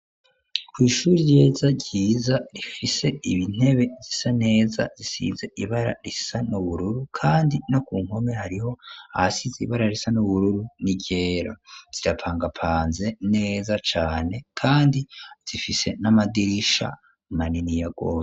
Kw'ishure ryiza ryiza rifise intebe zisa neza zisize ibara risa n'ubururu kandi no ku nkome hariho ahasize ibara risa n'ubururu n'iryera zirapangapanze neza cane kandi zifise n'amadirisha maniniya rwose.